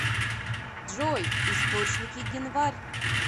джой источники генварь